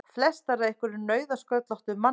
Flestar af einhverjum nauðasköllóttum manni!